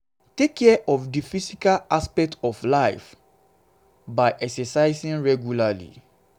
take care of di physical aspect of your life by exercising regularly